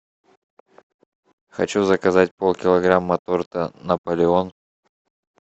хочу заказать полкилограмма торта наполеон